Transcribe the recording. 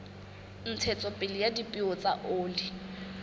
ntshetsopele ya dipeo tsa oli